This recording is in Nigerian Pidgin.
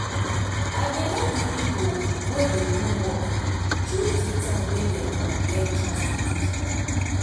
i dey let de pipo wey dey do work chose de time wey dem go get chance to do deir work